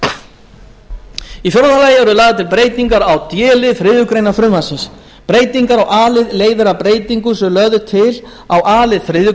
í fjórða lagi eru lagðar til breytingar á d lið þriðju greinar frumvarpsins breytingar í a lið leiðir af breytingu sem lögð er til á a lið þriðju